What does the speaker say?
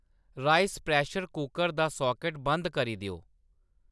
rice pressure cooker दा socket बंद करी देओ